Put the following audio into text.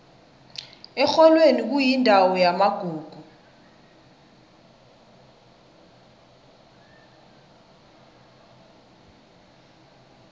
erholweni kuyindawo yamagugu